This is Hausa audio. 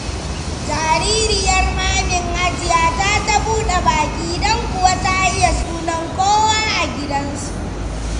Jaririyar Mamin Hajiya ta ta buɗe baki, don kuwa ta iya sunan kowa a gidansu.